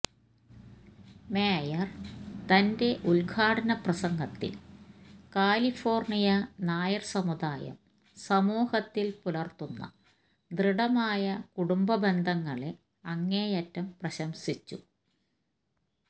mayor തന്റെ ഉദ്ഘാടന പ്രസംഗത്തില് കാലിഫോര്ണിയ നായര് സമുദായം സമൂഹത്തില് പുലര്ത്തുന്ന ദൃഢമായ കുടുംബ ബന്ധങ്ങളെ അങ്ങേയറ്റം പ്രശംസിച്ചു